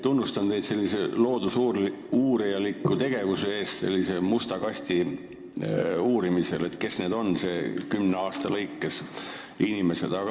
Tunnustan teid sellise loodusuurijaliku tegevuse eest musta kasti uurimisel, mis inimestega kümne aasta jooksul toimub.